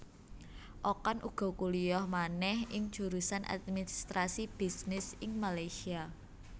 Okan uga kuliyah manéh ing jurusan administrasi bisnis ing Malaysia